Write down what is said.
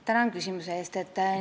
Tänan küsimuse eest!